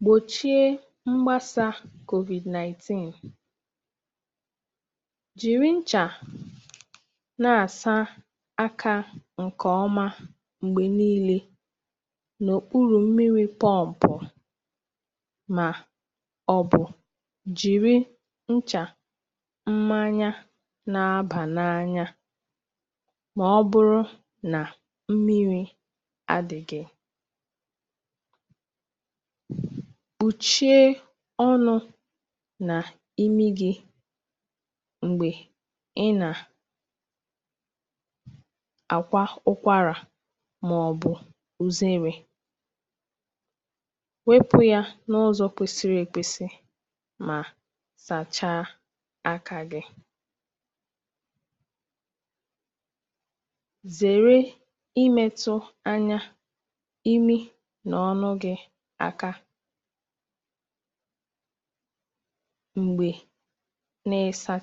Ị̀gbòchì mgbàsà ọrịa COVID-náìntìn gbà mbọ̀ ị̀sà àkà gị̀ mgbe niilè nà nchà na mmiri dị ọ́cha, maọ̀bụ̀ jiri nchà àkà nke nwere mmanụ̀ ọ̀tí. Zèè imètụ anya gị̀, imi gị̀, na ọnụ gị̀ aka mgbe ị̀ nà-asáchàghị̀ àkà gị̀ um. Mgbe ị̀ nà-èkwà ụ́kwàrạ maọ̀bụ̀ na-èsì anwú, kpòchie ọnụ na imi gị̀ nke ọma, ma sachà àkà gị̀ ozugbo e mechàrà.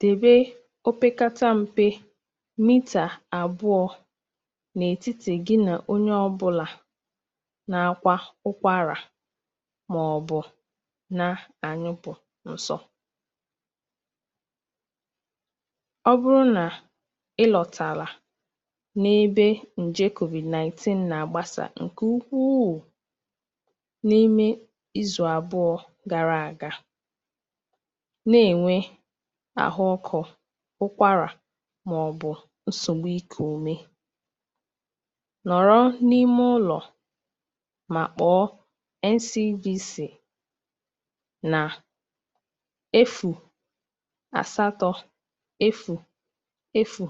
Dèbè anya opekata mpe mita àbụọ̀ n’etìtì gị̀ na onye ọ̀ bụ́la nà-èkwà ụ́kwàrạ maọ̀bụ̀ na-èsì anwú um, kàrí́sìá n’ebe ọrịa COVID-náìntìn na-agbàsà. Ọ bụrụ́ na ị̀ hụ̀ àkàrà dịka ụ́kwàrạ, ọkụ́kọ̀, maọ̀bụ̀ nsogbù ikù ụ̀mè n’ime izù àbụọ̀ gàrà àga, nọ́ n’ụlọ̀ ma kpọọ Ǹtànyèlà Ụ́lọ̀ Ọrụ̀ Maka Ịchịkwa Ọrịa Nà Nàijíríà — N C D C — ozugbo maka enyemaka na nduzi. Ǹọmba ị̀ gà-akpọ bụ̀ efù asatọ̀ efù efù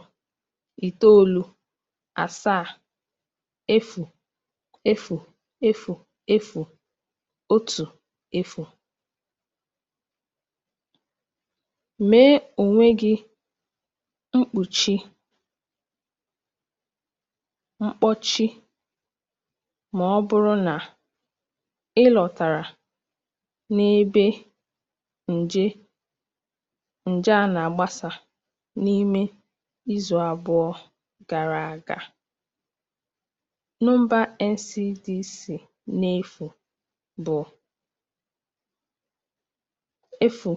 efù asaa efù efù efù efù otu um maọ̀bụ̀ efù asatọ̀ efù itoolu efù ise ise ise ise asaa asaa. Na-eyi mkpùchi ọnụ mgbe niile, ma ọ bụrụ́ na ị̀ lọ̀tàrala n’ebe ọrịa a na-agbàsà um, nọ́pụ̀ iche ma kpọọ N C D C site n’ọ̀nụ̀mbà ndị ahụ̀: efù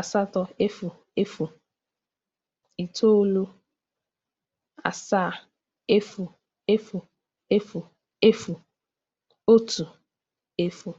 asatọ̀ efù efù efù asaa efù efù efù efù otu, maọ̀bụ̀ efù asatọ̀ efù itoolu efù ise ise ise ise asaa asaa.